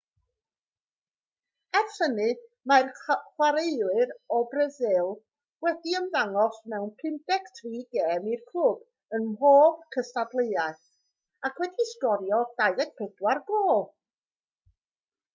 ers hynny mae'r chwaraewr o frasil wedi ymddangos mewn 53 gêm i'r clwb ym mhob cystadleuaeth ac wedi sgorio 24 gôl